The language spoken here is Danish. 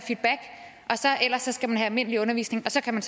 almindelig undervisning og så kan man